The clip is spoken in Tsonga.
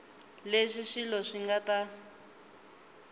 leswi swilo swi nga ta